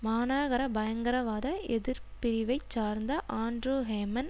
மாநாகர பயங்கரவாத எதிர் பிரிவை சார்ந்த ஆண்ட்ரூ ஹேமன்